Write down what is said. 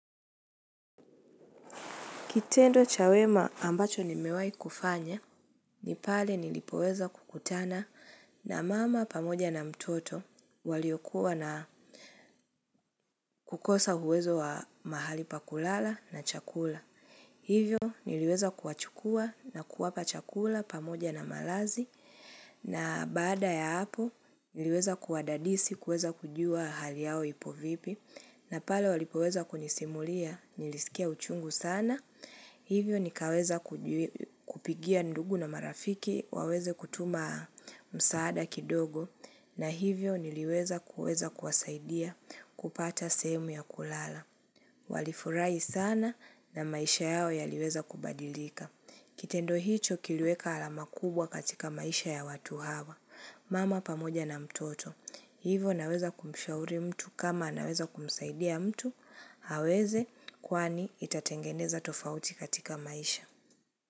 Kitendo cha wema ambacho nimewahi kufanya, ni pale nilipoweza kukutana na mama pamoja na mtoto waliokuwa na kukosa uwezo wa mahali pa kulala na chakula. Hivyo niliweza kuwachukua na kuwapa chakula pamoja na malazi na baada ya hapo niliweza kuwadadisi kuweza kujua hali yao ipo vipi na pale walipoweza kunisimulia nilisikia uchungu sana. Hivyo nikaweza kupigia ndugu na marafiki waweze kutuma msaada kidogo na hivyo niliweza kuweza kuwasaidia kupata sehemu ya kulala. Walifurahi sana na maisha yao yaliweza kubadilika. Kitendo hicho kiliweka alama kubwa katika maisha ya watu hawa. Mama pamoja na mtoto. Hivo naweza kumshauri mtu kama anaweza kumsaidia mtu, aweze kwani itatengeneza tofauti katika maisha.